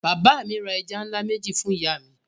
Bàbá mi ra ẹja ńlá méjì fún ìyá mi.